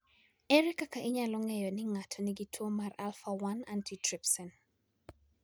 Ere kaka inyalo ng'e ni ng'ato nigi tuo mar alpha 1 antitrypsin?